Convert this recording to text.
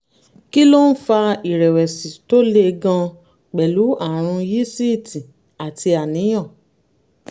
kí ló ń fa ìrẹ̀wẹ̀sì tó le gan-an pẹ̀lú àrùn yíísítì àti àníyàn?